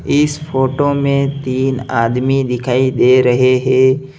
इस फोटो में तीन आदमी दिखाई दे रहे हैं।